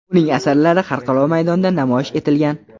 Uning asarlari xalqaro maydonda namoyish etilgan.